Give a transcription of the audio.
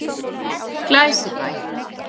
Glæsibæ